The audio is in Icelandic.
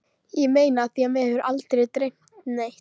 Ég meina af því mig hefur aldrei dreymt neitt.